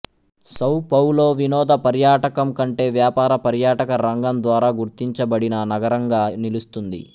సౌ పౌలో వినోద పర్యాటకం కంటే వ్యాపార పర్యాటక రంగం ద్వారా గుర్తించబడిన నగరంగా నిలుస్తుంది